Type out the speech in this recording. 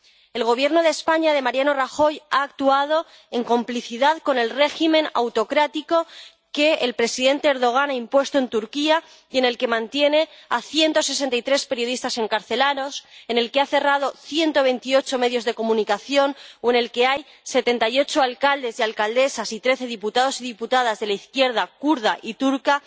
El Gobierno de España de Mariano Rajoy ha actuado en complicidad con el régimen autocrático que el presidente Erdogan ha impuesto en Turquía, que mantiene a 163 periodistas encarcelados, ha cerrado 128 medios de comunicación o mantiene en la cárcel a 78 alcaldes y alcaldesas y 13 diputados y diputadas de la izquierda kurda y turca.